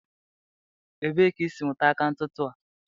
Ebee ka isiri mụta aka ntụtụ a?